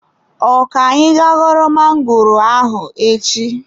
Ọ ka-anyị ga ghọrọ magoro ahụ echi.